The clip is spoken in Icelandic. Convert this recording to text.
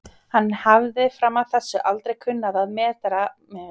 Hann hafði fram að þessu aldrei kunnað að meta framandleika